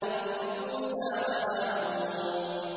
رَبِّ مُوسَىٰ وَهَارُونَ